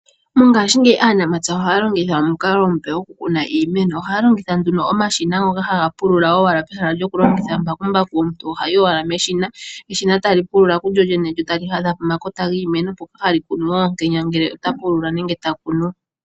Mongaashingeyi aanamapya ohaya longitha omukalo omupe goku kuna iimeno. Ohaya longitha nduno omashina ngoka haga pulula owala pehala lyoku longitha mbakumbaku. Omuntu ohayi owala meshina, eshina tali pulula kulyolyene lyo tali hadha pomakota giimeno mpoka hali kunu oonkenya ngele ota pulula nenege ta kunu.